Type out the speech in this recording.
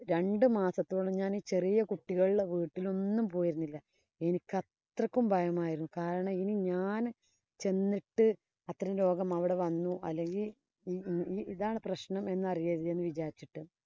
രണ്ടു മാസത്തോളം ഞാന്‍ ചെറിയ കുട്ടികളുടെ വീട്ടിലൊന്നും പോയിരുന്നില്ല. എനിക്ക് അത്രയും ഭയമായിരുന്നു. കാരണം ഇനി ഞാന് ചെന്നിട്ടു അത്തരം രോഗം അവിടെ വന്നു അല്ലെങ്കില്‍ ഇ ഇ ഇതാണ് പ്രശ്നം എന്നറിയരുത് എന്ന് വിചാരിച്ചിട്ട്.